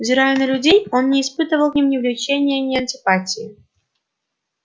взирая на людей он не испытывал к ним ни влечения ни антипатии